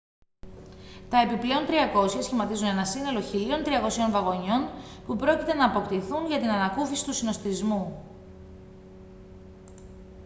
τα επιπλέον 300 σχηματίζουν ένα σύνολο 1.300 βαγονιών που πρόκειται να αποκτηθούν για την ανακούφιση του συνωστισμού